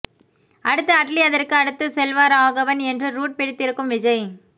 அடுத்து அட்லீ அதற்கு அடுத்து செல்வராகவன் என்று ரூட் பிடித்திருக்கும் விஜய்